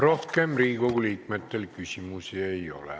Rohkem Riigikogu liikmetel küsimusi ei ole.